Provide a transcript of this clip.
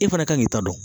E fana ka kan k'i ta dɔn